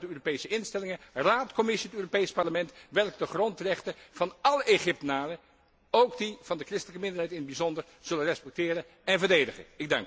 Ik hoop dan dat de Europese instellingen Raad, Commissie en Europees Parlement, de grondrechten van alle Egyptenaren, ook die van de christelijke minderheid in het bijzonder, zullen respecteren en verdedigen.